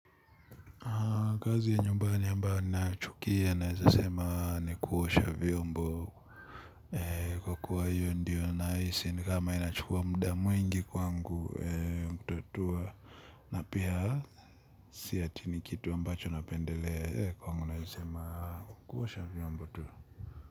Kazi ya nyumbani ambayo ninayachukia naeza sema ni kuosha vyombo. Kwa kuwa hiyo ndiyo nahisi ni kama inachukua muda mwingi kwangu. Na pia si ati ni kitu ambacho napendelea kwangu naeza sema kuosha vyombo tu.